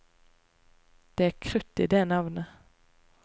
Det er krutt i det navnet.